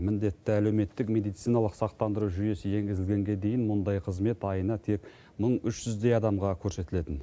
міндетті әлеуметтік медициналық сақтандыру жүйесі енгізілгенге дейін мұндай қызмет айына тек мың үш жүздей адамға көрсетілетін